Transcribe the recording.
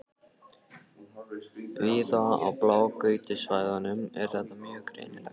Víða á blágrýtissvæðunum er þetta mjög greinilegt.